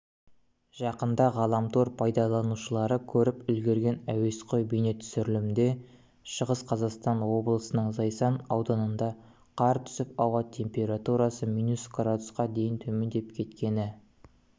жақында ғаламтор пайдаланушылары көріп үлгерген әуесқой бейнетүсірілімде шығыс қазақстан облысының зайсан ауданында қар түсіп ауа температурасы минус градусқа дейін төмендеп кеткені